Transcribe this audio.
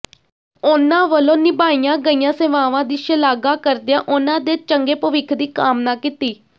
ਉਨਾ ਵੱਲੋਂ ਨਿਭਾਈਆਂ ਗਈਆਂ ਸੇਵਾਵਾਂ ਦੀ ਸ਼ਲਾਘਾ ਕਰਦਿਆਂ ਉਨ੍ਹਾਂ ਦੇ ਚੰਗੇ ਭਵਿੱਖ ਦੀ ਕਾਮਨਾ ਕੀਤੀ